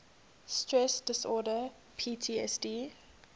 stress disorder ptsd